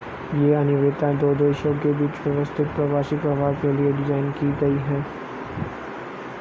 ये अनिवार्यताएं दो देशों के बीच व्यवस्थित प्रवासी प्रवाह के लिए डिज़ाइन की गई हैं